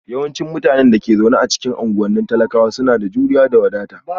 Yawancin mutanen da ke zaune a cikin unguwannin talakawa suna da juriya da wadata